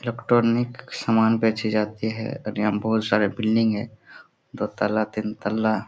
Electronic सामान बेची जाती है और यहां बहुत सारे बिल्डिंग है दो तल्ला तीन तल्ला।